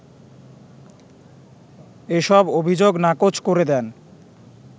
এসব অভিযোগ নাকচ করে দেন